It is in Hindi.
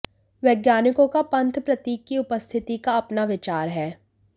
वैज्ञानिकों का पंथ प्रतीक की उपस्थिति का अपना विचार है